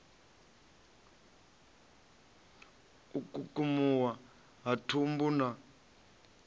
u kukumuwa ha thumbu na